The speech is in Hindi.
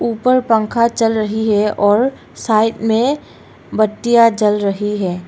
ऊपर पंखा चल रही है और साइड में बत्तियां जल रही है।